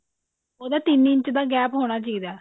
ਉਹਦਾ ਤਿੰਨ ਇੰਚ ਦਾ gap ਹੋਣਾ ਚਾਹੀਦਾ